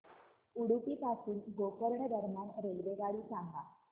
उडुपी पासून गोकर्ण दरम्यान रेल्वेगाडी सांगा